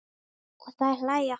Og þær hlæja.